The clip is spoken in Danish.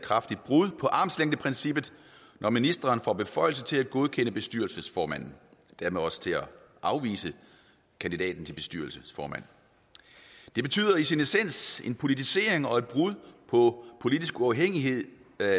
kraftigt brud på armslængdeprincippet når ministeren får beføjelse til at godkende bestyrelsesformanden og dermed også til at afvise kandidaten til bestyrelsesformand det betyder i sin essens en politisering og et brud på politisk uafhængighed i